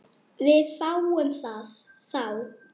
Við fáum þá